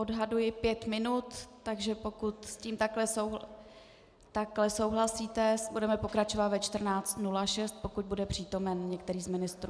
Odhaduji pět minut, takže pokud s tím takto souhlasíte, budeme pokračovat ve 14.06, pokud bude přítomen některý z ministrů.